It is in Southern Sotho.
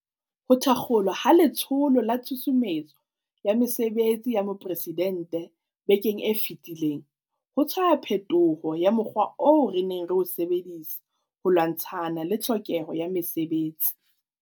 Ho thakgolwa ha Letsholo la Tshusumetso ya Mesebetsi ya Mopresidente bekeng e fetileng ho tshwaya phetoho ya mo kgwa oo re neng re o sebedisa ho lwantshana le tlhokeho ya mesebetsi.